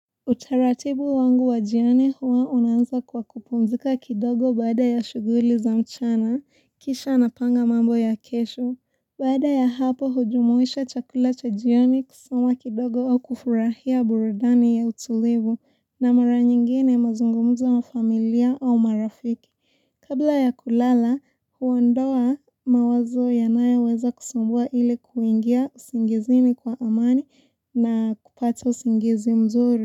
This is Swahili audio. Utaratibu wangu wa jiani huwa unaanza kwa kupumzika kidogo baada ya shuguli za mchana, kisha napanga mambo ya kesho. Baada ya hapo hujumuisha chakula cha jioni kusoma kidogo au kufurahia burudani ya utulivu na mara nyingine nazungumza na familia au marafiki. Kabla ya kulala huondoa mawazo yanayoweza kusambua ili kuingia usingizini kwa amani na kupata usingizi mzuri.